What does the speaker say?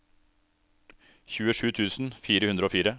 tjuesju tusen fire hundre og fire